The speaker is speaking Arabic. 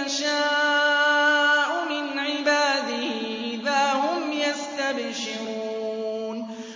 يَشَاءُ مِنْ عِبَادِهِ إِذَا هُمْ يَسْتَبْشِرُونَ